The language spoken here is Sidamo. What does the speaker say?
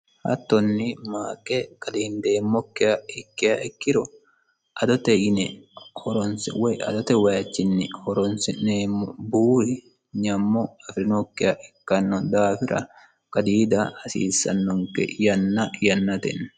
hattonni maaqe qadiindeemmokkiha ikkeha ikkiro adote yine horonse woy adote wayichinni horonsi'neemmo buuri nyammo afirinookkiha ikkanno daafira qadiida hasiissannonke yanna yannate